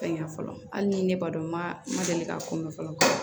Fɛn ɲɛ fɔlɔ hali ni ne b'a dɔn n ma deli k'a ko mɛn fɔlɔ